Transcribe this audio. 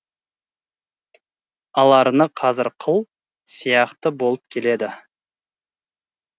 аларны қазір қыл сияқты болып келеді